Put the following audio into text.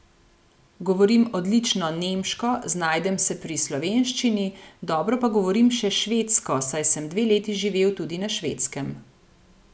Govorim odlično nemško, znajdem se pri slovenščini, dobro pa govorim še švedsko, saj sem dve leti živel tudi na Švedskem.